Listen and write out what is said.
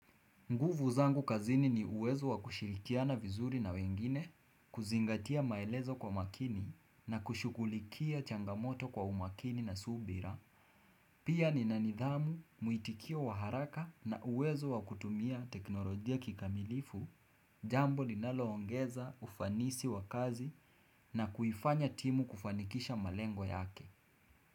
Nguvu zangu kazini ni uwezo wa kushirikia na vizuri na wengine, kuzingatia maelezo kwa makini na kushugulikia changamoto kwa umakini na subira. Pia nina nidhamu, muitikio wa haraka na uwezo wa kutumia teknolojia kikamilifu, jambo ninaloongeza ufanisi wa kazi na kuifanya timu kufanikisha malengo yake.